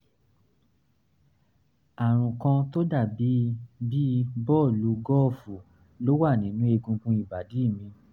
àrùn kan tó dà bí bí bọ́ọ̀lù gọ́ọ̀fù ló wà nínú egungun ìbàdí mi